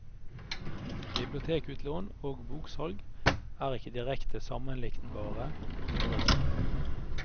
Bibliotekutlån og boksalg er ikke direkte sammenliknbare størrelser.